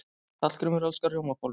Hallgrímur elskar rjómabollur.